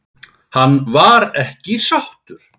Hann var ekki sáttur.